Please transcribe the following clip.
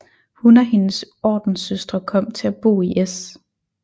Hun og hendes ordenssøstre kom til at bo i S